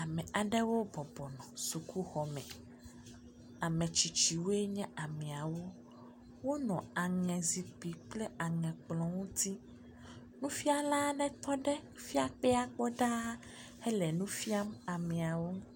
Ame aɖewo bɔbɔ nɔ sukuxɔ me, ametsitsiwoe nye ameawo. Wonɔ aŋe zikpui kple aŋe kplɔ ŋuti. Nufiala aɖe tɔ ɖe…ɖaa hele nu fiam ameawo.